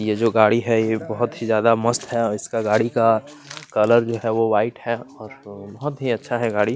ये जो गाड़ी है ये बहुत ही ज्यादा मस्त है और इसका गाड़ी का कलर जो है वो वाइट है बहुत ही अच्छा है गाड़ी--